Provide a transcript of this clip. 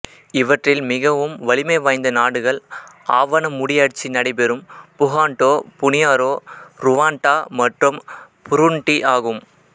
இவற்றில் மிகவும் வலிமை வாய்ந்த நாடுகள் ஆவன முடியாட்சி நடைபெறும் புகாண்டோ புனியாரோ ருவாண்டா மற்றும் புருண்டி ஆகும்